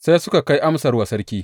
Sai suka kai amsar wa sarki.